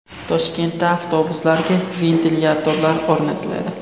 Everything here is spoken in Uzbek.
Toshkentda avtobuslarga ventilyatorlar o‘rnatiladi.